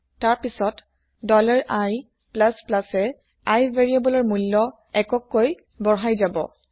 তাৰ পিছত i এ i ভেৰিয়েবলৰ মূল্য এককৈ বঢ়া্ই যাব